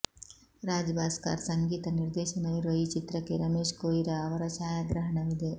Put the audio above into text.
ರಾಜ್ ಭಾಸ್ಕರ್ ಸಂಗೀತ ನಿರ್ದೇಶನವಿರುವ ಈ ಚಿತ್ರಕ್ಕೆ ರಮೇಶ್ ಕೊಯಿರಾ ಅವರ ಛಾಯಾಗ್ರಹಣವಿದೆ